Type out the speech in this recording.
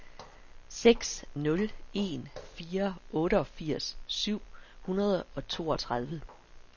seks nul en fire otteogfirs syv hundrede og toogtredive